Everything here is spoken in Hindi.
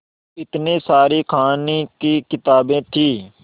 इतनी सारी कहानी की किताबें थीं